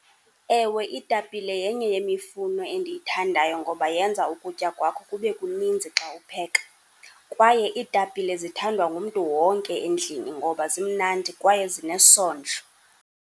Ewe, iitapile yenye yemifuno endiyithandayo ngoba yenza ukutya kwakho kube kuninzi xa upheka, kwaye iitapile zithandwa ngumntu wonke endlini ngoba zimnandi kwaye zinesondlo.